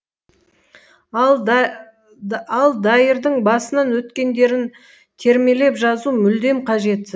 ал дайырдың басынан өткендерін термелеп жазу мүлдем қажет